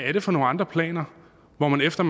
er det for nogle andre planer hvor man efter